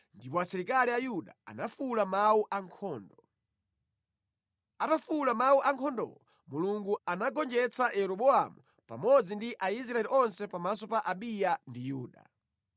ndipo asilikali a Yuda anafuwula mawu ankhondo. Atafuwula mawu ankhondowo, Mulungu anagonjetsa Yeroboamu pamodzi ndi Aisraeli onse pamaso pa Abiya ndi Yuda.